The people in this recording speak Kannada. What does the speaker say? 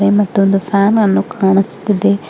ಮತ್ತೊಂದು ಪ್ಯಾನ್ ಅನ್ನು ಕಾಣಿಸುತ್ತಿದೆ.